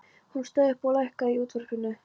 Hún stóð upp og lækkaði í útvarpinu.